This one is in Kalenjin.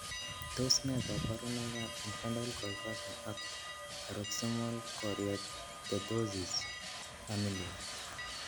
Tos nee koborunoikab Infantile convulsions ak paroxysmal choreoathetosis, familial?